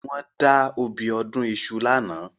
Wọ́n da obì ọdún iṣu lánàá